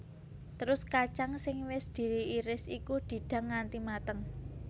Terus kacang sing wis diiris iku didang nganti mateng